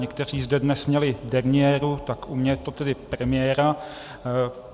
Někteří zde dnes měli derniéru, tak u mě je to tedy premiéra.